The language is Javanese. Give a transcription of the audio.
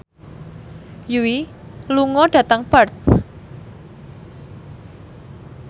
Yui lunga dhateng Perth